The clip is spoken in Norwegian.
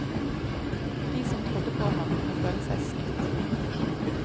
De som trodde på ham, må føle seg snytt.